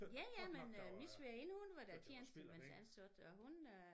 Ja ja men øh min svigerinde hun var da tjenestemandsansat og hun øh